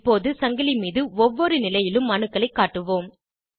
இப்போது சங்கிலி மீது ஒவ்வொரு நிலையிலும் அணுக்களைக் காட்டுவோம்